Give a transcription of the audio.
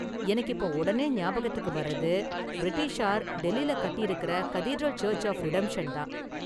எனக்கு இப்ப உடனே ஞாபகத்துக்கு வர்றது , பிரிட்டிஷார் டெல்லில கட்டி இருக்குற கதீட்ரல் சர்ச்சு ஆஃப் ரிடெம்ஷன்தான்.